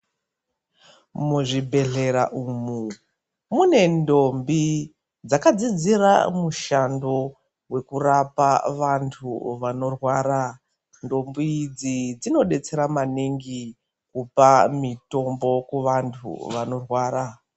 Muzvibhehlera umu mune ndombi dzakadzidzira mushando vekurapa vandhu vanorwara ,ndombi idzi dzinodetsera maningi kupa mitombo kuvandhu vanorwara.